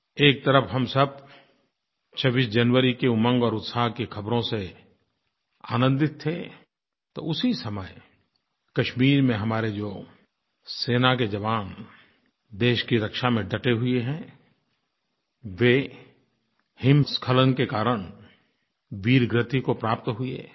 एक तरफ़ हम सब 26 जनवरी की उमंग और उत्साह की ख़बरों से आनंदित थे तो उसी समय कश्मीर में हमारे जो सेना के जवान देश की रक्षा में डटे हुए हैं वे हिमस्खलन के कारण वीरगति को प्राप्त हुए